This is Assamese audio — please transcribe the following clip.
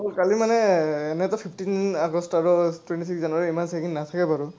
কালি মানে এনেইটো fifteen আগষ্ট আৰু twenty january ত ইমান checking নাথাকে বাৰু,